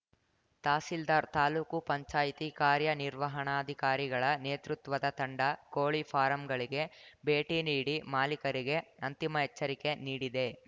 ತಹಸೀಲ್ದಾರ್‌ ತಾಲೂಕು ಪಂಚಾಯ್ತಿ ಕಾರ್ಯ ನಿರ್ವಹಣಾಧಿಕಾರಿಗಳ ನೇತೃತ್ವದ ತಂಡ ಕೋಳಿ ಫಾರಂಗಳಿಗೆ ಭೇಟಿ ನೀಡಿ ಮಾಲೀಕರಿಗೆ ಅಂತಿಮ ಎಚ್ಚರಿಕೆ ನೀಡಿದೆ